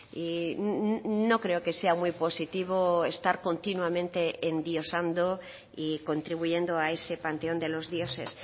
y no creo que sea muy positivo estar continuamente endiosando y contribuyendo a ese panteón de los dioses